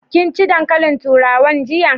Kin ci dankalin turawan jiya?